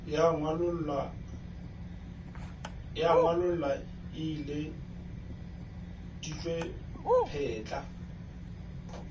ya ngwalollo e ileditšwe phetla